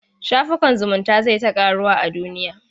Shafukan zumunta zai ta ƙaruwa a duniya.